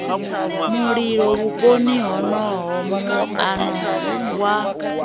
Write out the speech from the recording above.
mulilo vhuponi honoho muano wa